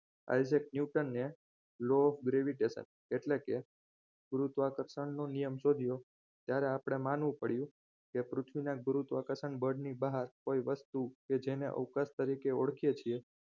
Isaac newton law of gravitatio એટલે કે ગુરુત્વાકર્ષણનો નિયમ શોધ્યો ત્યારે આપણે પણ માનવું પડ્યું કે પૃથ્વીના ગુરુત્વાકર્ષણ બળની બહાર કોઈ વસ્તુ કે જેને અવકાશ તરીકે ઓળખીએ છીએ